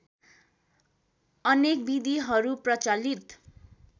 अनेक विधिहरू प्रचलित